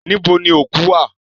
Níbo ni òkú wà?